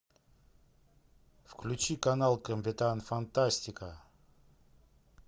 включи канал капитан фантастика